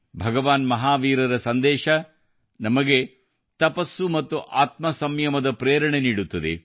ಭಗವಾನ್ ಮಹಾವೀರರ ಸಂದೇಶ ನಮಗೆ ಸ್ಥಿರತೆ ಮತ್ತು ಆತ್ಮಸಂಯಮದ ಪ್ರೇರಣೆ ನೀಡುತ್ತದೆ